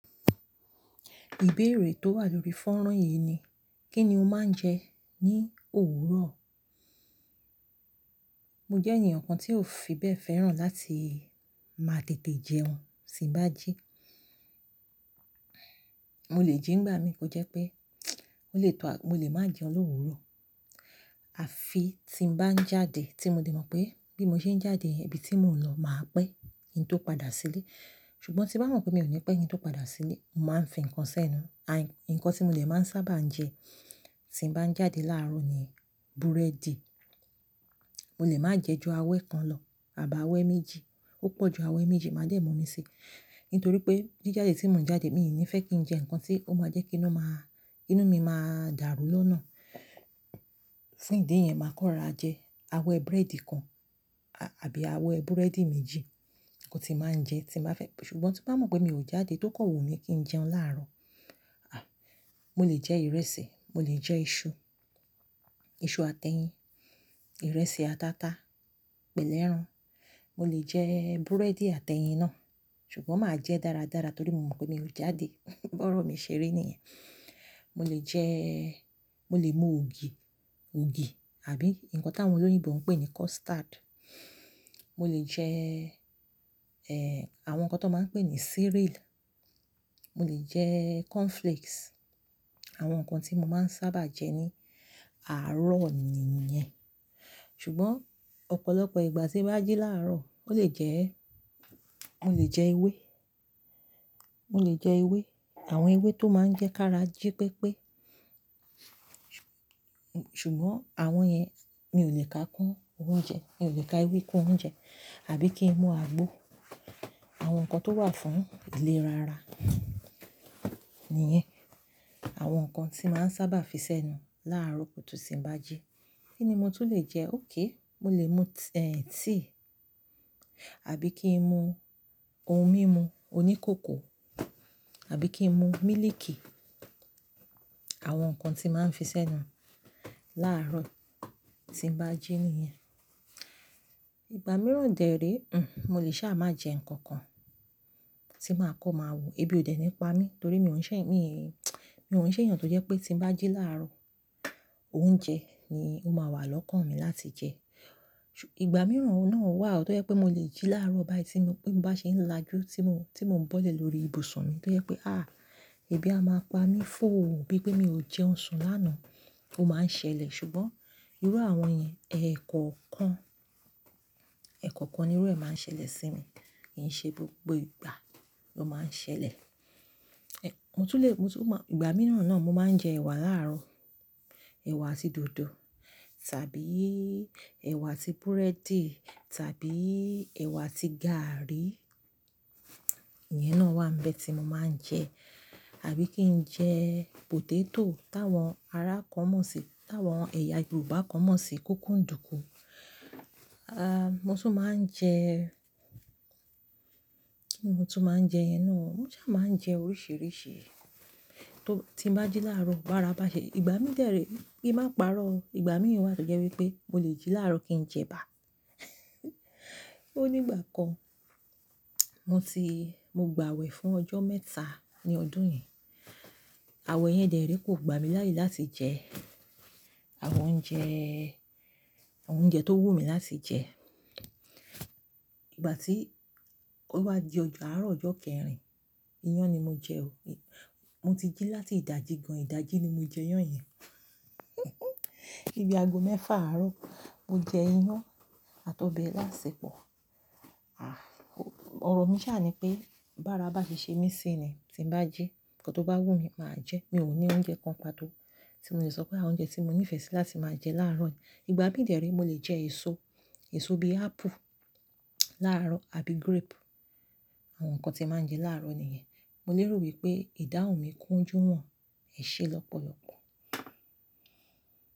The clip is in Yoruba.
Ìbéèrè tó wà lórí fọ́nrán yìí ni, kí ni o máa ń jẹ ní òwúrọ̀? Mo jẹ́ èèyàn kan tí ò fi bẹ́ẹ̀ fẹ́ràn láti máa tètè jẹun, sí n bájí. Mo lè jí ngbá mi kó jẹ́ pé, o lè tó a mo lè máa jẹun lówúrọ̀, àfi tí n bá ń jáde. Tí mo dé mọ̀ pé bí mo ṣe ń jáde yẹn, ibi tí mò ń lọ, màá pẹ́ kín tó padà sílé. Ṣùgbọ́n tí bá mọ̀ pé mi ò ní pẹ́ kín tó padà sílé, n máa ń fi ǹnkan sẹ́nu. Ǹnkan tí mo dè máa ń sábà jẹ tí n bá ń jáde láàárọ̀ ni búrẹ́dì. Mo lè máa jẹ jù awẹ kan lọ àbí awẹ méjì. Ó pọ̀ jù awẹ méjì máa dẹ̀ mú mi sí. Ntorí pé jíjàde tí mò ń jáde, mi ní fẹ́ kí n jẹ ǹnkan tí ó máa jẹ́ kí inú maa, inú mi máa dàrú lọ́nà. Fún ìdí yẹn, màá kọ́ rara jẹ awẹ búrẹ́dì kan a àbí awẹ búrẹ́dì méjì nǹkan tí máa ń jẹ tí bàá fẹ́. Ṣùgbọ́n tó bá mọ̀ pé mi ò jáde, tó kọ̀ wù mi kí n jẹun láàárọ̀, à mo lè jẹ ìrẹsì, mo lè jẹ iṣu, iṣu àtẹ́yìn, ìrẹsì ata tá, pẹ̀lú ẹran. Mo lè jẹ búrẹ́dì àtẹ́yìn náà, ṣùgbọ́n màá jẹ dáradára torí mo mọ̀ pé mi ò jáde. Bọ́rọ̀ mi ṣe rí nìyẹn. Mo lè jẹ́, mo lè mú ògì, ògì àbí nǹkan tá àwọn olóyinbo ń pè ní custard. Mo lè jẹ, ẹ́, àwọn ǹnkan tó máa ń pè ní cereal. Mo lè jẹ cornflakes. Àwọn ǹnkan tí mo máa ń sábà jẹ ní àárọ̀ ni ìyẹn. Ṣùgbọ́n ọ̀pọ̀lọpọ̀ ìgbà tí bá jí láàárọ̀, ó lè jẹ, mo lè jẹ ewé. Mo lè jẹ ewé, àwọn ewé tó máa ń jẹ kára jí pépé. Ṣùgbọ́n àwọn yẹn mi ò lè ka kún oúnjẹ, mi ò lè ka ewé kún oúnjẹ àbí kí n mu àgbo. Àwọn ǹnkan tó wà fún ìlera ara nìyẹn. Àwọn ǹnkan tí màá ń sábà fi sẹ́nu láàárọ̀ kutu sí n bá jí. Kí ni mo tún lè jẹ? Okay, mo lè mú t--, tea, àbí kí n mu ohun mímu oní cócò, àbí kí n mu mílíìkì. Àwọn ǹkan tí màá ń fi sẹ́nu láàárọ̀ tí ń bá jí nìyẹn. Ìgbà mìíràn dè re, mo lè sá máa jẹ ǹnkan kan tí màá kọ́ máa wò. Ebi ò dè ní pa mí torí mi ò ń ṣè, mi n mi ò ń ṣè èèyàn tó jẹ́ pé tí ń bá jí láàárọ̀, oúnjẹ ni ó máa wà lọ́kàn mi láti jẹ. Ìgbà mìíràn náà wà tó yẹ́ pé mo lè jí láàárọ̀ báyìí tí mo bí mo bá ṣe ń lájú tí mo, tí mò ń bọ́lẹ̀ lórí ibùsùn mi tó yẹ́ pé, à, ebi a máa pa mí fò ó bí pé mi ò jẹun sùn lánàá. Ó máa ń ṣẹlẹ̀, ṣùgbọ́n irú àwọn yẹn, ẹ̀ kọ̀ọ̀kan, ẹ̀ kọ̀ọ̀kan nírú ẹ máa ń ṣẹlẹ̀ sí mi. Kì n ṣe gbogbo ìgbà ló máa ń ṣẹlẹ̀. E mo tún lè, mo tún máa, ìgbà mìíràn náà mo máa ń jẹ ẹ̀wà láàárọ̀. Ẹ̀wà àti dòdò tàbí ẹ̀wà àti búrẹ́dì tàbí ẹ̀wà àti gàrrí. Ìyẹn náà wà ń bẹ tí mo máa ń jẹ. Àbí kí n jẹ potato táwọn ará kan mọ̀ sí, táwọn ẹ̀yà Yorùbá kan mọ̀ sí kókò ń dùkú. À, mo tún máa ń jẹ, kí ni mo tún máa ń jẹ yẹn náà o? Mo sá máa ń jẹ oríṣìíríṣìí tó, tí ń bá jí láàárọ̀, bárabà ṣe. Ìgbà mì dè re, kí n máa parọ́ o. Ìgbà mì wà tó jẹ́ wípé mo lè jí láàárọ̀ kí n jẹ èbà. Ó ní ìgbà kan, mo ti, mo gbàwẹ̀ fún ọjọ́ mẹ́ta ní ọdún yẹn. Àwẹ̀ yẹn dè re kò gbami láyè láti jẹ àwọn oúnjẹ, àwọn oúnjẹ tó wù mí láti jẹ. Ìgbà tí ó wá di ọjọ́, àárọ̀ ọjọ́ kẹrin, iyán ni mo jẹ o e. Mo ti jí láti ìdájí gan-an, ìdájí ni mo jẹ iyán yẹn. Bí ago mẹ́fà àárọ̀, mo jẹ iyán àtọ̀bẹ iláàṣepọ̀. À, o ọ̀rọ̀ mi sá ni pé bára bá fi ṣe mí sí ni tí ń bá jí, ǹnkan tó bá wù mí, màá jẹ ẹ́. Mi ò ní oúnjẹ kan pàtó tí mo lè sọ pé àwọn oúnjẹ tí mo nífẹ̀ẹ́ sí láti máa jẹ láàárọ̀. Ìgbà mì dè re mo lè jẹ èso, èso bí apple láàárọ̀ àbí grape. Àwọn ǹkan tí màá ń jẹ láàárọ̀ nìyẹn. Mo lè rò wípé ìdáhùn mi kúnjù náà ẹ̀ ṣe lọ́pọ̀lọpọ̀.